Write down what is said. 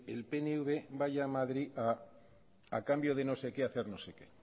el pnv vaya a madrid a cambio de no sé qué hacer no sé qué